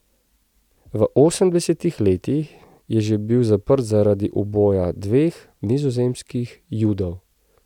V osemdesetih letih je že bil zaprt zaradi uboja dveh nizozemskih Judov.